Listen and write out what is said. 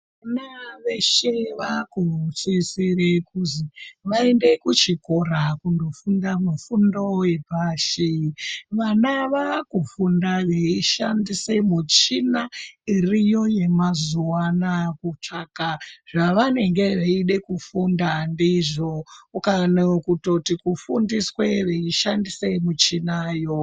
Vana veshe vakusisirwa kunzi vaende kuchikoro kundofunda kumufundo we pashi. Vana vaakufunda veishandisa michina iriyo yemazuwa anaa kutsvaka zvavanenge veida kufunda ndizvo. Kana kutoti kufundiswa veishandisa michina iyoyo.